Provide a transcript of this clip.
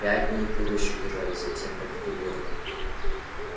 пять дней куры ещё держались затем капитулировали